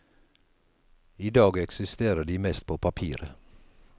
I dag eksisterer de mest på papiret.